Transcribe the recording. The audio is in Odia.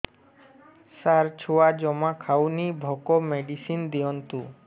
ସାର ଛୁଆ ଜମା ଖାଉନି ଭୋକ ମେଡିସିନ ଦିଅନ୍ତୁ